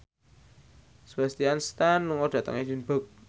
Sebastian Stan lunga dhateng Edinburgh